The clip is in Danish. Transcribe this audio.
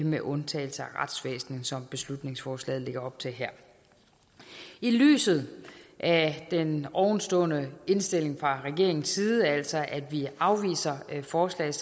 med undtagelse af retsvæsenet som beslutningsforslaget lægger op til her i lyset af den ovenstående indstilling fra regeringens side altså at vi afviser forslaget